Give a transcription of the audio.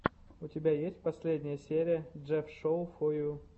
у тебя есть последняя серия джефф шоу фо ю